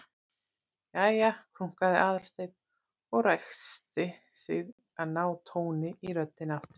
Jæja- krunkaði Aðalsteinn og ræskti sig til að ná tóni í röddina aftur.